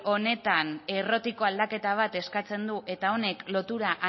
honetan errotiko aldaketa bat eskatzen du eta honek lotura